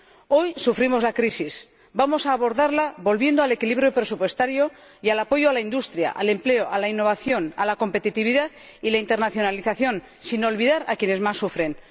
Hoy sufrimos la crisis. Vamos a abordarla volviendo al equilibrio presupuestario y al apoyo a la industria, al empleo, a la innovación, a la competitividad y a la internacionalización, sin olvidar a quienes más sufren.